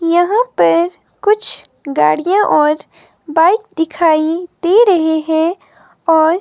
यहां पर कुछ गाड़ियां और बाइक दिखाई दे रहे हैं और--